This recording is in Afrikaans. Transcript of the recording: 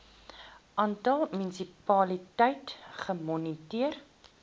aantal munisipaliteite gemoniteer